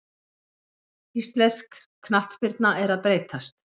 Íslensk knattspyrna er að breytast.